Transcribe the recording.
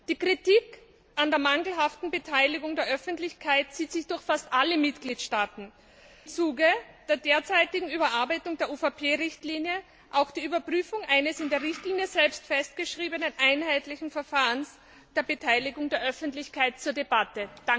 Die Kritik an der mangelhaften Beteiligung der Öffentlichkeit zieht sich durch fast alle Mitgliedstaaten. Im Zuge der derzeitigen Überarbeitung der UVP Richtlinie steht auch die Überprüfung eines in der Richtlinie selbst festgeschriebenen einheitlichen Verfahrens der Beteiligung der Öffentlichkeit zur Debatte.